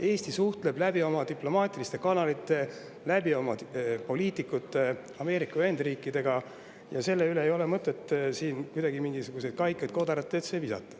Eesti suhtleb läbi oma diplomaatiliste kanalite, oma poliitikute kaudu Ameerika Ühendriikidega ja sellele ei ole mõtet kuidagi mingisuguseid kaikaid kodaratesse visata.